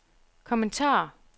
kommentar